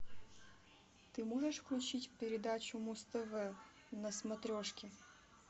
ты можешь включить передачу муз тв на смотрешке